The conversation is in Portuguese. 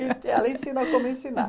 Ela ensina como ensinar.